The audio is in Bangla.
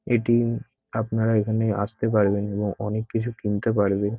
এটি আপনারা এখানে আসতে পারবেন এবং অনেক কিছু কিনতে পারবেন ।